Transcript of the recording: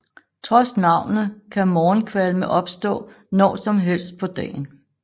Trods navnet kan morgenkvalme opstå når som helst på dagen